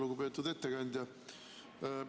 Lugupeetud ettekandja!